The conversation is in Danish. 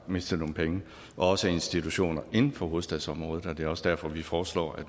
mistet nogle penge og også institutioner inden for hovedstadsområdet og det er også derfor at vi foreslår at